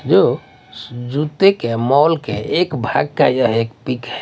जो जूते के मॉल के एक भाग का यह पिक है।